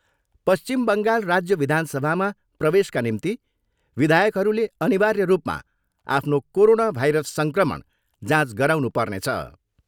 पश्चिम बङ्गाल राज्य विधानसभामा प्रवेशका निम्ति विधायकहरूले अनिर्वाय रूपमा आफ्नो कोरोना भाइरस सङ्क्रमण जाँच गराउनु पर्नेछ।